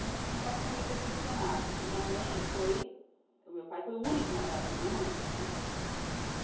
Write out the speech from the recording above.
Eu lembro que meu pai ficou meio decepcionado, porque a minha mãe foi... O meu pai foi o único namorado da minha mãe, né? Ah